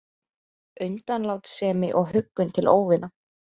Undanlátssemi og huggun til óvina